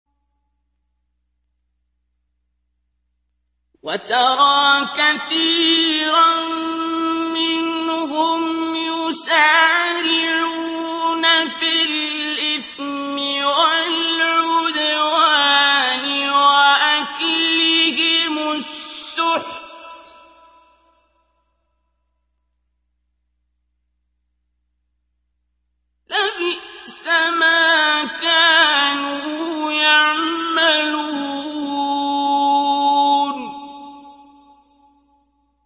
وَتَرَىٰ كَثِيرًا مِّنْهُمْ يُسَارِعُونَ فِي الْإِثْمِ وَالْعُدْوَانِ وَأَكْلِهِمُ السُّحْتَ ۚ لَبِئْسَ مَا كَانُوا يَعْمَلُونَ